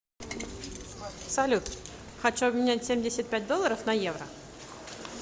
салют хочу обменять семьдесят пять долларов на евро